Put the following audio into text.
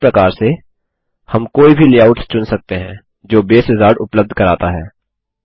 इस प्रकार से हम कोई भी लेआउट्स चुन सकते हैं जो बसे विजार्ड उपलब्ध कराता है